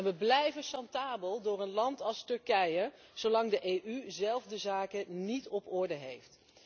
We blijven chantabel door een land als Turkije zolang de EU zelf de zaken niet op orde heeft.